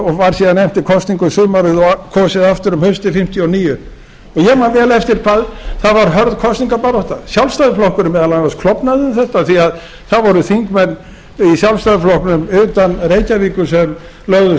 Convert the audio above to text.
og var síðan efnt til kosninga um sumarið og kosið aftur um haustið nítján hundruð fimmtíu og níu ég man vel eftir hvað það var hörð kosningabarátta sjálfstæðisflokkurinn meðal annars klofnaði um þetta því að það voru þingmenn í sjálfstæðisflokknum utan reykjavíkur sem lögðust